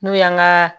N'o y'an ka